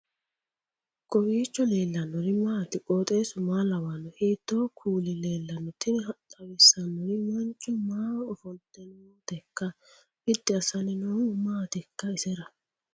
kowiicho leellannori maati ? qooxeessu maa lawaanno ? hiitoo kuuli leellanno ? tini xawissannori mancho maaho ofoltinoteikka biddi assanni noohu maatikka isera